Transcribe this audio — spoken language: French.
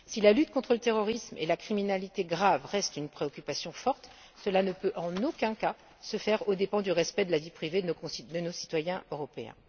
Si la lutte contre le terrorisme et la criminalité grave reste une préoccupation forte, cela ne peut en aucun cas se faire aux dépens du respect de la vie privée de nos citoyens européens.